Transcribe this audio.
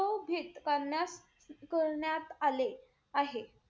शोभीत करण्यात-करण्यात आले आहे.